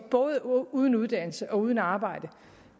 uden uddannelse og uden arbejde